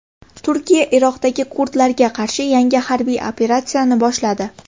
Turkiya Iroqdagi kurdlarga qarshi yangi harbiy operatsiyani boshladi.